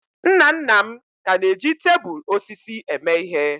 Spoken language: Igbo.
Nna nna m ka na-eji tebụl osisi eme ihe.